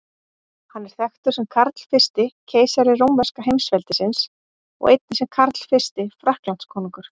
Hann er þekktur sem Karl fyrsti keisari rómverska heimsveldisins og einnig sem Karl fyrsti Frakklandskonungur.